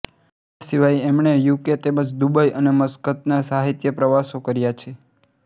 એ સિવાય એમણે U K તેમજ દુબઈ અને મસ્કતના સાહિત્યિક પ્રવાસો કર્યા છે